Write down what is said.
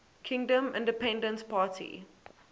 kingdom independence party